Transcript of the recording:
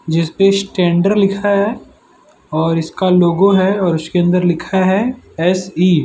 जिसपे स्टैंडर्ड लिखा है और इसका लोगो है और उसके अंदर लिखा है एस_इ --